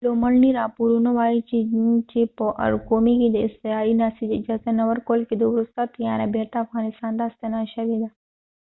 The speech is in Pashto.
لومړني راپورونه وایي چې چې په ارقومي کې د اضطراري ناستې د اجازه نه ورکول کیدو وروسته طیاره بیرته افغانستان ته ستنه شوې ده